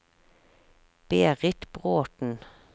Berit Bråthen